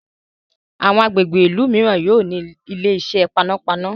àwọn agbègbè ilú míràn yóò ní Ilé-iṣẹ́ panápaná.